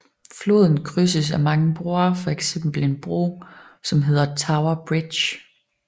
Floden krydses af mange broer fx en bro som hedder Tower Bridge